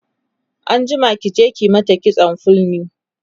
anjima ki je ki mata kitson fulni!